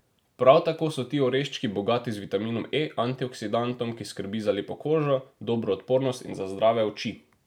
Prav tako so ti oreščki bogati z vitaminom E, antioksidantom, ki skrbi za lepo kožo, dobro odpornost in za zdrave oči.